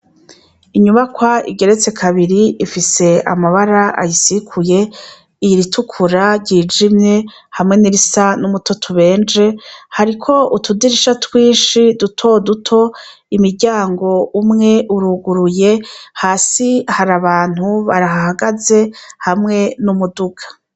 Inyubakwa igeretse kabiri ifise amabara ayisikuye iritukura ryijimye hamwe nirisa n'umutoto ubenje hariko utudirisha twishi duto duto imiryango umwe uruguruye hasi hari abantu bahagaze hamwe n'umuduga.